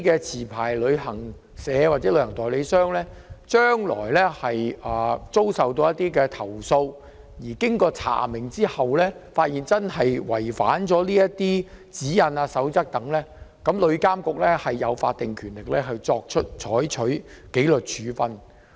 持牌旅行社或旅行代理商將來如遭受投訴，經查明後發現確實違反有關指引或守則，旅監局具法定權力採取紀律處分。